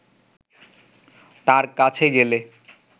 তাঁর কাছে গেলে